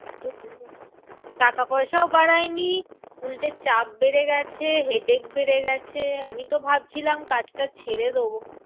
টাকাপয়সাও বাড়ায়নি উল্টে চাপ বেড়ে গেছে, headache বেড়ে গেছে, আমিতো ভাবছিলাম কাজটা ছেড়ে দেব।